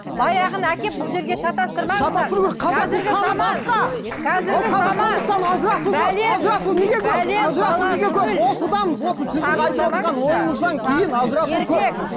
баяғыны әкеп бұл жерге шатастырмаңыздар